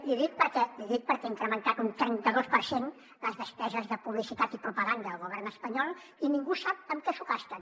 l’hi dic perquè ha incrementat un trenta dos per cent les despeses de publicitat i propaganda del govern espanyol i ningú sap en què s’ho gasten